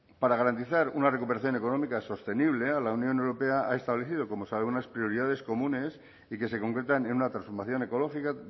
para garantizar una recuperación económica sostenible la unión europea ha establecido como sabe unas prioridades comunes y que se concretan en una transformación ecológica